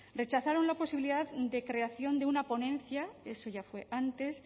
rechazaron la posibilidad de creación de una ponencia eso ya fue antes